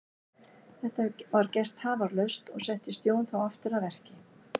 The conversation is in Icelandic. Þetta var gert tafarlaust og settist Jón þá aftur að verki.